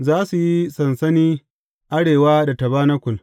Za su yi sansani arewa da tabanakul.